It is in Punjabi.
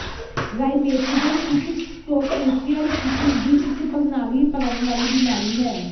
ਰਾਇਮੇਟਿਜ਼ਮ ਇੱਕ ਟੋਟੇਸ਼ੀਅਲ ਟਿਸ਼ੂ ਦੀ ਇੱਕ ਪ੍ਰਣਾਲੀ ਭਰਨ ਵਾਲੀ ਬਿਮਾਰੀ ਹੈ